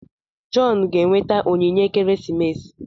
John ga-enweta onyinye ekeresimesi.